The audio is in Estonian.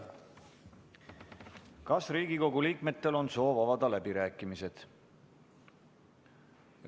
Kas Riigikogu liikmetel on soov avada läbirääkimised?